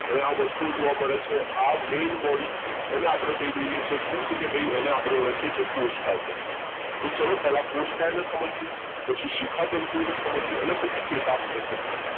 આ વસ્તુ જોવા મળે છે આ main body એને આપણે કહી દઈએ છે શું એને આપણે ઓળખીએ છીએ કોષકાય તરીકે તો ચલો પહેલા કોર્સ્કાયને સમજે પછી શિખા તંતુને અને પછી ચેતાક્ષને સમજીએ